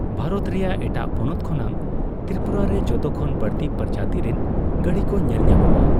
ᱵᱷᱟᱨᱚᱛ ᱨᱮᱭᱟᱜ ᱮᱴᱟᱜ ᱯᱚᱱᱚᱛ ᱠᱷᱚᱱᱟᱜ ᱛᱨᱤᱯᱩᱨᱟ ᱨᱮ ᱡᱷᱚᱛᱚᱠᱷᱚᱱ ᱵᱟᱹᱲᱛᱤ ᱯᱨᱚᱡᱟᱛᱤ ᱨᱮᱱ ᱜᱟᱸᱲᱤᱠᱚ ᱧᱮᱞᱧᱟᱢᱚᱜᱼᱟ ᱾